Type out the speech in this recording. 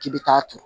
K'i bɛ taa turu